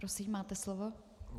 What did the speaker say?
Prosím, máte slovo.